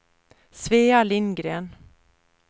Svea Lindgren